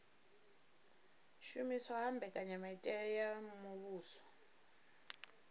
shumiswa ha mbekanyamitele ya muvhuso